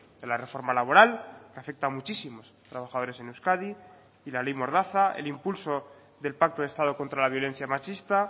de la reforma laboral que afecta a muchísimos trabajadores en euskadi y la ley mordaza el impulso del pacto de estado contra la violencia machista